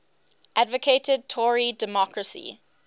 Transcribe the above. advocated tory democracy